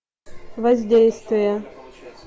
воздействие